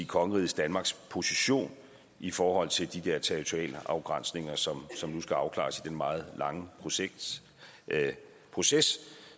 kongeriget danmarks position i forhold til de der territorialafgrænsninger som som nu skal afklares i den meget lange proces proces